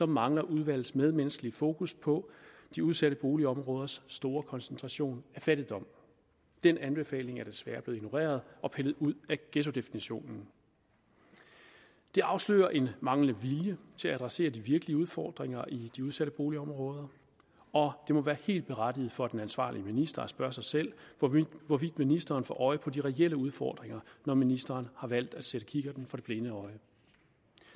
mangler udvalgets medmenneskelige fokus på de udsatte boligområders store koncentration af fattigdom den anbefaling er desværre blevet ignoreret og pillet ud af ghettodefinitionen det afslører en manglende vilje til at adressere de virkelige udfordringer i de udsatte boligområder og det må være helt berettiget for den ansvarlige minister at spørge sig selv hvorvidt ministeren får øje på de reelle udfordringer når ministeren har valgt at sætte kikkerten for det blinde øje